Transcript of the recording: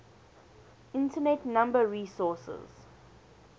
internet number resources